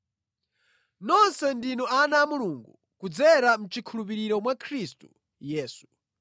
Nonse ndinu ana a Mulungu kudzera mʼchikhulupiriro mwa Khristu Yesu,